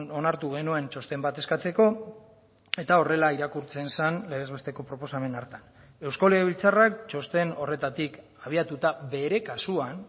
onartu genuen txosten bat eskatzeko eta horrela irakurtzen zen legez besteko proposamen hartan euzko legebiltzarrak txosten horretatik abiatuta bere kasuan